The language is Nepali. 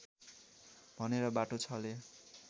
भनेर बाटो छले